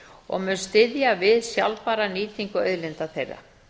og mun styðja við sjálfbæra nýtingu auðlinda þeirra